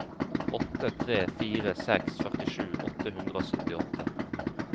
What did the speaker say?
åtte tre fire seks førtisju åtte hundre og syttiåtte